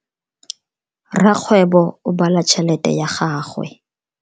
Rakgwebo o bala tšhelete ya gagwe.